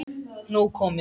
Nóg komið